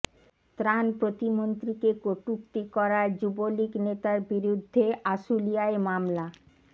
ত্রাণ প্রতিমন্ত্রীকে কুটুক্তি করায় যুবলীগ নেতার বিরুদ্ধে আশুলিয়ায় মামলা